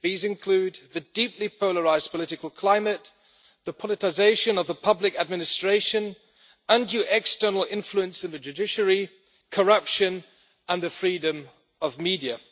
These include the deeply polarised political climate, the politicisation of the public administration, undue external influence on the judiciary, corruption and the freedom of the media.